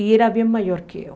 E era bem maior que eu.